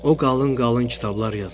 O qalın-qalın kitablar yazırdı.